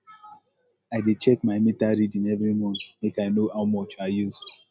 i dey check my meter reading every month make i know how much i use